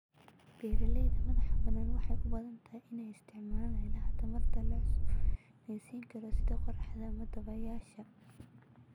Beeraha madaxbannaan waxay u badan tahay inay isticmaalaan ilaha tamarta la cusboonaysiin karo sida qorraxda ama dabaysha.